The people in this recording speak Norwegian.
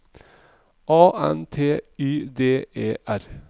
A N T Y D E R